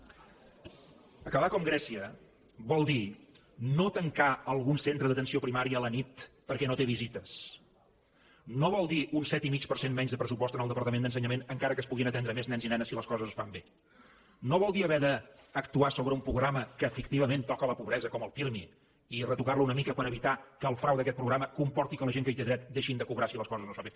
acabar com grècia vol dir no tancar algun centre d’atenció primària a la nit perquè no té visites no vol dir un set i mig per cent menys de pressupost en el departament d’ensenyament encara que es puguin atendre més nens i nenes si les coses es fan bé no vol dir haver d’actuar sobre un programa que efectivament toca la pobresa com el pirmi i retocar lo una mica per evitar que el frau d’aquest programa comporti que la gent que hi té dret deixin de cobrar si les coses no es fan bé